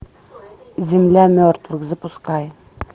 земля мертвых запускай